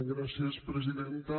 gràcies presidenta